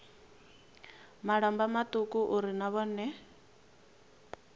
malamba mauku uri na vhone